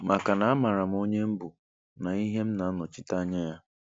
Maka na a maara m onye m bụ na ihe m na-anọchite Anya ya